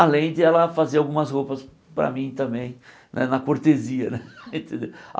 Além de ela fazer algumas roupas para mim também né, na cortesia né